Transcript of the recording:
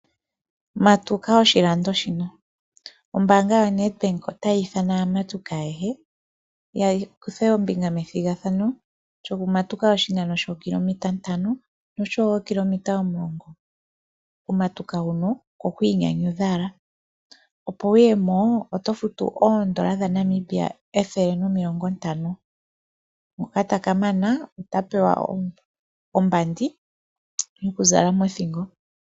Ombaanga yaNedbank otayi ithana aamatuki ayehe ya kuthe ombiga methigathano lyokumatuka oshinano shookilometa ntano osho wo omulongo. Okumatuka huno oko ku inyanyudha owala. Opo wu yemo oto futu N$ 150. Ngoka ta ka mana ota pewa ombandi yoku zala mothingo.